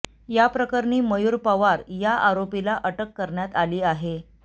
याप्रकरणी मयूर पवार या आरोपीला अटक करण्यात आली आहे